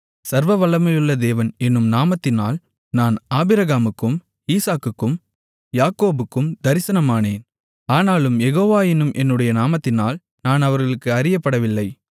சர்வவல்லமையுள்ள தேவன் என்னும் நாமத்தினால் நான் ஆபிரகாமுக்கும் ஈசாக்குக்கும் யாக்கோபுக்கும் தரிசனமானேன் ஆனாலும் யேகோவா என்னும் என்னுடைய நாமத்தினால் நான் அவர்களுக்கு அறியப்படவில்லை